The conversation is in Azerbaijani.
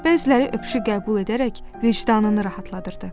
Bəziləri öpüşü qəbul edərək vicdanını rahatladırdı.